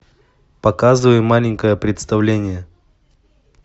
показывай маленькое представление